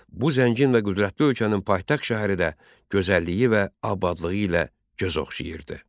Bu zəngin və qüdrətli ölkənin paytaxt şəhəri də gözəlliyi və abadlığı ilə göz oxşayırdı.